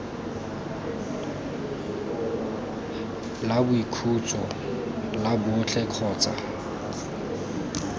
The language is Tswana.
la boikhutso la botlhe kgotsa